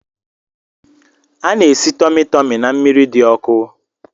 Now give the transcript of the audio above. A na-esi tumu tumu na mmiri di oku